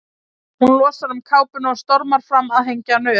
Hún losar um kápuna og stormar fram að hengja hana upp.